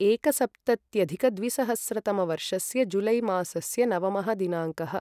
एकसप्तत्यधिकद्विसहस्रतमवर्षस्य जुलै मासस्य नवमः दिनाङ्कः